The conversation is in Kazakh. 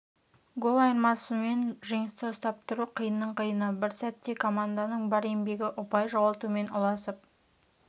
гол айырмасымен жеңісті ұстап тұру қиынның қиыны бір сәтте команданың бар еңбегі ұпай жоғалтумен ұласып